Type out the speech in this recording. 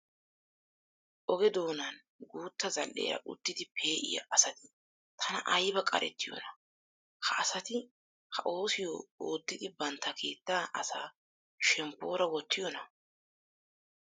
Oge doonan guutta zal"eera uttidi pe'iya asati tana ayba qarettiyonaa! Ha asati ha oosiyo oottidi bantta keettaa asaa shemppoora wottiyonaa?